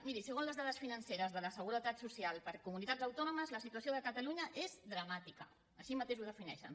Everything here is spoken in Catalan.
miri segons les dades financeres de la seguretat social per comunitats autònomes la situació de catalunya és dramàtica així mateix ho defineixen